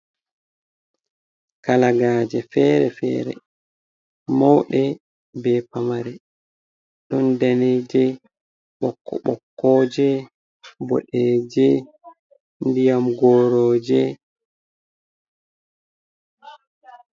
Kalagaje fere-fere maunɗe be pamare ɗon daneje, ɓokko, je bodeje ndiyam goroje.